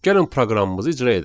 Gəlin proqramımızı icra edək.